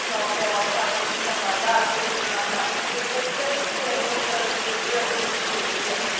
жалпы шағын шаһарда сегіз мыңнан астам үй тіркелсе соның мың қырық жетісі жөндеуден өткен